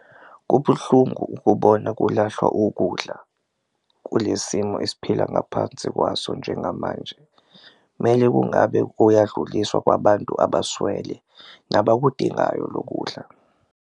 Kubuhlungu ukubona kulahlwa ukudla kule simo esiphila ngaphansi kwaso njengamanje, mele kungabe kuyadluliswa kwabantu abaswele nabakudingayo lo kudla.